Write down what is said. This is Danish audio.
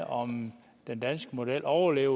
om den danske model overlever